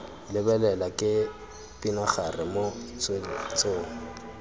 lebelela ke pinagare mo tsweletsong